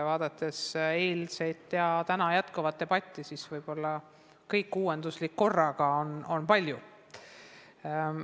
Vaadates eilset ja täna jätkuvat debatti, siis tahan öelda, et võib-olla kõik uuenduslik korraga läheb paljuks.